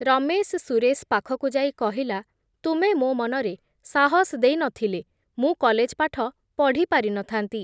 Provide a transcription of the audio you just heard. ରମେଶ୍ ସୁରେଶ୍ ପାଖକୁ ଯାଇ କହିଲା, ତୁମେ ମୋ ମନରେ ସାହସ୍ ଦେଇ ନ ଥିଲେ, ମୁଁ କଲେଜ୍ ପାଠ ପଢ଼ିପାରି ନ ଥାନ୍ତି ।